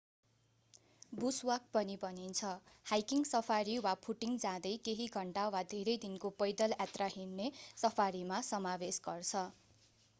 Bush walk” पनि भनिन्छ hiking safari” वा फूटिङ” जाँदै केही घन्टा वा धेरै दिनको पैदल यात्रा हिड्ने सफारीमा समावेश गर्छ।